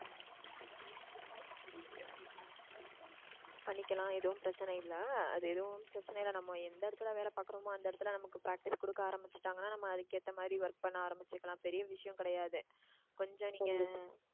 பண்ணிக்கலாம் எதுவும் பிரச்சனை இல்லை அது எதுவும் பிரச்சனை இல்லை நம்ம எந்த இடத்துல வேலை பார்க்கிறோமோ அந்த இடத்துல நமக்கு practice கொடுக்க ஆரம்பிச்சுட்டாங்கன்னா நம்ம அதுக்கு ஏத்த work பண்ண ஆரம்பிச்சிருக்கலாம் பெரிய விஷயம் கிடையாது கொஞ்சம் நீங்க